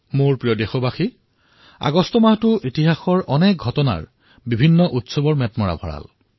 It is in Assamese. মোৰ মৰমৰ দেশবাসীসকল আগষ্ট মাহটো ইতিহাসৰ অনেক ঘটনা উৎসৱৰে ভৰা